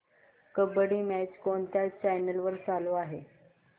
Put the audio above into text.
kabaddi match कोणत्या channel वर चालू आहे